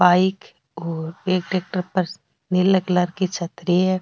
Bike और एक tractor पर नीला कलर की छतरी है।